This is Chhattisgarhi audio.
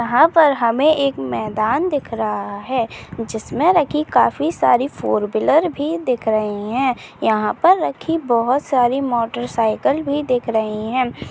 यहाँ पर हमें एक मैदान दिख रहा है जिसमे रखी काफी सारी फोरव्हीलर भी दिख रही है यहाँ पर रखी बहुत सारी मोटरसाइकिल भी दिख रही है।